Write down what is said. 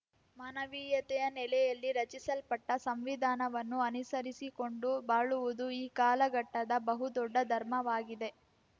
ಮಾನವೀಯತೆಯ ನೆಲೆಯಲ್ಲಿ ರಚಿಸಲ್ಪಟ್ಟಸಂವಿಧಾನವನ್ನು ಅನುಸರಿಸಿಕೊಂಡು ಬಾಳುವುದು ಈ ಕಾಲಘಟ್ಟದ ಬಹು ದೊಡ್ಡ ಧರ್ಮವಾಗಿದೆ